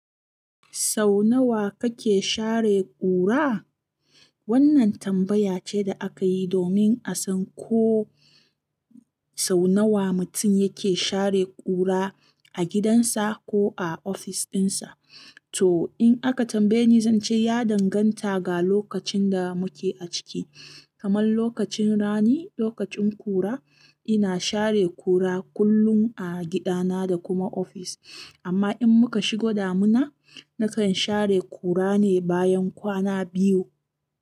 Sau nawa kake share ƙura? Wannan tambaya ce da aka yi domin a san ko sau nawa mutum yake share ƙura a gidansa ko a ofis ɗinsa. To, in aka tambaye ni, zan ce ya danganta ga lokacin da muke ciki. Kamar lokacin rani, lokacin ƙura, ina share ƙura kullum a gidana da kuma ofis. Amma in muka shigo damina, nakan share ƙura ne bayan kwana biyu.